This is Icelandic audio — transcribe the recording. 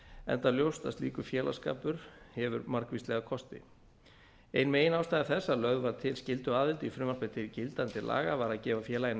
enda ljóst að slíkur félagsskapur hefur margvíslega kosti ein meginástæða þess að lögð var til skylduaðild í frumvarp til gildandi laga var að gefa félaginu